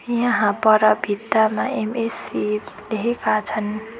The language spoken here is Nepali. यहाँ पर भित्तामा एम_ए_सी लेखेका छन्।